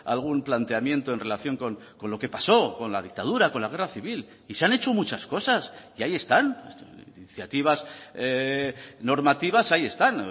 algún planteamiento en relación con lo que pasó con la dictadura con la guerra civil y se han hecho muchas cosas y ahí están iniciativas normativas ahí están